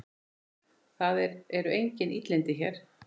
Það eru engin illindi hér.